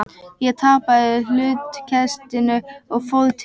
Ég tapaði hlutkestinu og fór til